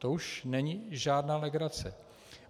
To už není žádná legrace.